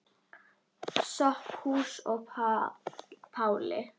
Sophusi og Páli.